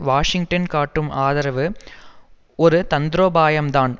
Washington காட்டும் ஆதரவு ஒரு தந்திரோபாயம்தான்